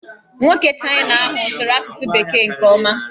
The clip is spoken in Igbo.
Nwoke Chịna ahụ sụrụ asụsụ bekee nke ọma.